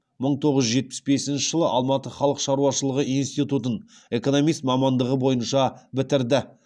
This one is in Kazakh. мың тоғыз жүз жетпіс бесінші жылы алматы халық шаруашылығы институтын экономист мамандығы бойынша бітірді